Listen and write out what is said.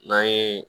N'an ye